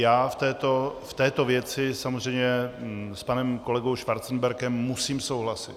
Já v této věci samozřejmě s panem kolegou Schwarzenbergem musím souhlasit.